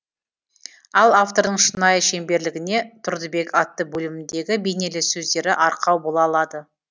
ал автордың шынайы шеберлігіне тұрдыбек атты бөлімдегі бейнелі сөздері арқау бола алады